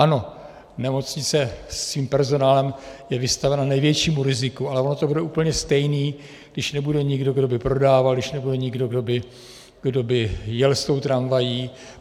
Ano, nemocnice s tím personálem je vystavena největšímu riziku, ale ono to bude úplně stejné, když nebude nikdo, kdo by prodával, když nebude nikdo, kdo by jel s tou tramvají.